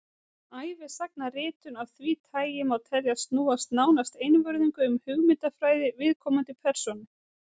Ævisagnaritun af því tagi má teljast snúast nánast einvörðungu um hugmyndafræði viðkomandi persónu.